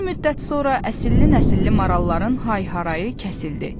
Bir müddət sonra əsilli-nəsilli maralların hay-harayı kəsildi.